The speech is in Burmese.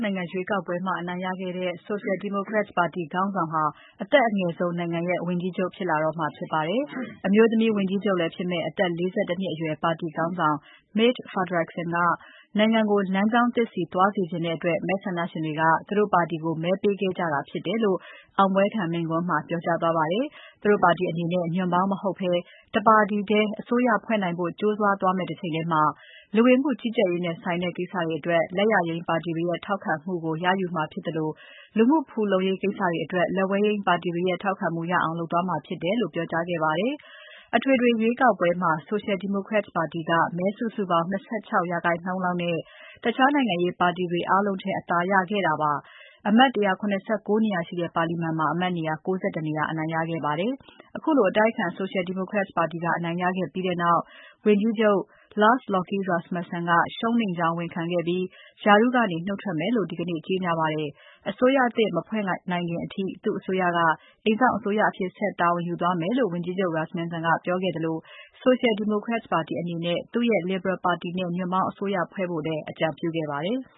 နိုင်ငံရွေးကောက်ပွဲမှာ အနိုင်ရခဲ့တဲ့ Social Democrats ပါတီခေါင်းဆောင်ဟာ အသက်အငယ်ဆုံး နိုင်ငံရဲ့ ဝန်ကြီးချုပ်ဖြစ်လာတော့မှာ ဖြစ်ပါတယ်။ အမျိုးသမီးဝန်ကြီးချုပ်လည်းဖြစ်မယ့် အသက် ၄၁ နှစ်အရွယ် ပါတီခေါင်းဆောင် Mette Frederiksen က နိုင်ငံကို လမ်းကြောင်းသစ်ဆီသွားစေချင်တဲ့အတွက် မဲဆန္ဒရှင်တွေက သူတို့ပါတီကိုမဲပေးခဲ့ကြတာဖြစ်တယ်လို့ အောင်ပွဲခံ မိန့်ခွန်းမှာ ပြောကြားသွားပါတယ်။ သူတို့ပါတီအနေနဲ့ ညွှန့်ပေါင်း မဟုတ်ဘဲ တပါတီထဲ အစိုးရဖွဲ့နိုင်ဖို့ ကြိုးစားသွားမယ့် တချိန်ထဲမှာ ဝင်မှုကြီးကြပ်ရေးနဲ့ဆိုင်တဲ့ကိစ္စတွေအတွက် လက်ယျာယိမ်းပါတီတွေရဲ့ ထောက်ခံမှုကို ရယူမှာဖြစ်သလို လူမှုဖူလုံရေးကိစ္စတွေအတွက် လက်ဝဲယိမ်းပါတီတွေရဲ့ ထောက်ခံမှုရအောင် လုပ်သွားမှာ ဖြစ်တယ်လို့ ပြောကြားခဲ့ပါတယ်။ အထွေထွေရွေးကောက်ပွဲမှာ Social Democrats ပါတီက မဲစုစုပေါင်း ၂၆% လောက်နဲ့ တခြားနိုင်ငံရေးပါတီတွေ အားလုံးထက် အသာရပြီး အမတ် 179 နေရာရှိတဲ့ ပါလီမာန်မှာ အမတ်နေရာ ၉၁ နေရာ ရရှိခဲ့တာပါ။ ခုလို အတိုက်အခံ Social Democrats ပါတီက အနိုင်ရခဲ့ပြီးနောက် ဝန်ကြီးချုပ် Lars Lokke Rasmussen ကရှုံးနိမ့်ကြောင်း ဝန်ခံခဲ့ပြီး ရာထူးကနေ နုတ်ထွက်မယ်လို့ ဒီကနေ့ ကြေညာပါတယ်။ အစိုးရသစ်မဖွဲ့နိုင်ခင်အထိ သူ့အစိုးရက အိမ်စောင့်အစိုးရအဖြစ်ဆက် တာဝန်ယူသွားမယ်လို့ ဝန်ကြီးချုပ် Rasmussen ကပြောခဲ့သလို Social Democrats ပါတီအနေနဲ့ သူ့ရဲ့ Liberal ပါတီနဲ့ ညွှန့်ပေါင်းအစိုးရဖွဲဖို့လည်း အကြံပြုခဲ့ပါတယ်။